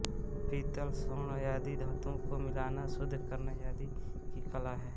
पीतल स्वर्ण आदि धातुओं को मिलाना शुद्ध करना आदि की कला है